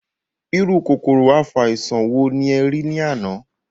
Irú kòkòrò afàìsàn wòó nì ẹ rí ní àná?